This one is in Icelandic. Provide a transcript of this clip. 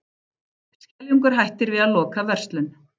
Skeljungur hættir við að loka verslun